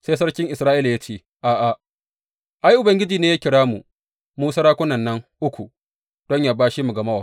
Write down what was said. Sai sarkin Isra’ila ya ce, A’a, ai Ubangiji ne ya kira mu, mu sarakunan nan uku don yă bashe mu ga Mowab.